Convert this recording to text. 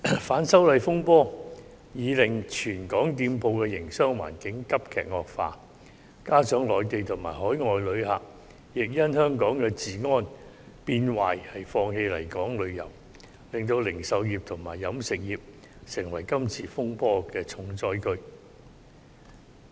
反修例風波已經令全港店鋪的營商環境急劇惡化，加上內地及海外旅客亦因為香港治安變壞而放棄來港旅遊，令零售業及飲食業成為今次風波的重災區。